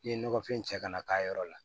N'i ye nɔgɔfin cɛ ka na k'a yɔrɔ la